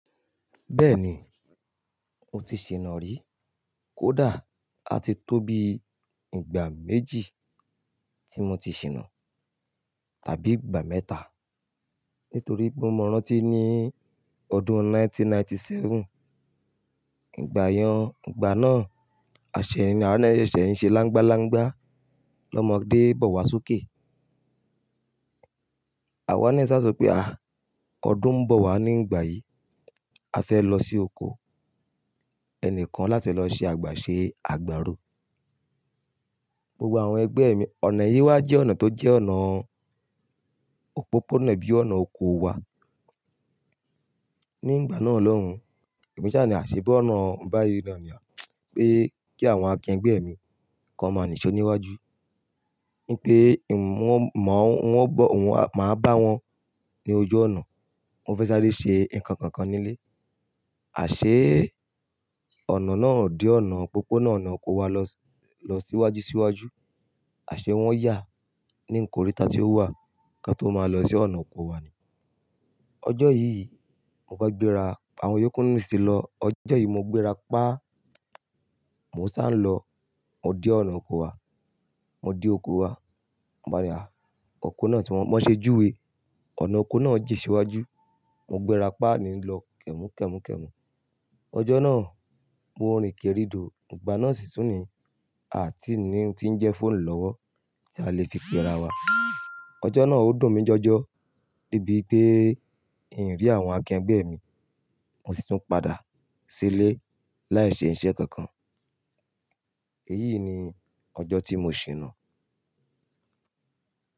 Bẹ́ẹ̀ni, mo ti ṣìná rí. Kódà a ti tó bí ìgbà méjì tí mo ti ṣìnà tàbí ìgbà mẹ́ta. Nítorí pé mọ rántí ní ọdún 1997. Ìgbà yẹn, ìgbà náà àṣẹ awa náà sẹ̀ ṣe láńgbá láńgbá lọ́mọ dé bọ̀ wá sókè. Àwa ní sá só pé à, ọdún ń bọ̀ wá ní ìgbà yìí. A fẹ́ lọ sí oko. Ẹni kan láti lọ ṣe àgbà ṣe àgbàro. Gbogbọ̀ àwọn ẹgbẹ́ mi, ọ̀nà yìí wá jẹ́ ọ̀nà tó jẹ́ ọ̀nà òpópónà bí ọ̀nà oko wa. Ní ìgbà náà lọ́hun, èmi ṣà ní àṣẹ bí ọ̀nà ń bá yí náà ni. Pé kí àwọn akẹgbẹ́ mi kan máa nìṣe níwájú. Ní pé ì mo máa wọ́n bọ̀ wọn máa bá wọn ní ojú ọ̀nà. Wọ́n fẹ́ sáré ṣe nǹkan kan nílé. Àṣé ọ̀nà náà òdí ọ̀nà òpópónà ọ̀nà oko wa lọ síwájú síwájú. Àṣé wọ́n yà ní ńkọríta tí ó wà kí a tó máa lọ sí ọ̀nà oko wa ni. Ọjọ́ yìí, mo bá gbéra, àwọn yókùnú sì lọ. Ọjọ́ yìí mo gbéra pa. Mo ṣà ń lọ, mo dé ọ̀nà oko wa. Mo dé oko wa. Mo báre, à, oko náà tí wọ́n, wọ́n ṣe júwe. Ọ̀nà oko náà jí síwájú. Mo gbéra pa ni lọ kẹ̀mú kẹ̀mú kẹ̀mú. Ọjọ́ náà mo rin kérìdò. Ìgbà náà sì sún ni a kìí ní ohun tí ń jẹ́ fóònù lọ́wọ́ tí a lè fi pe ara wa. Ọjọ́ náà ó dùn mí jọjọ. Débi pé ì rí àwọn akẹgbẹ́ mi, mo sì tún padà sílé láì ṣe iṣẹ́ kankan. Èyí ni ọjọ́ tí mo ṣìnà.